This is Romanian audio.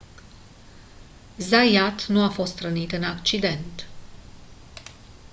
zayat nu a fost rănit în accident